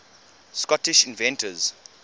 scottish inventors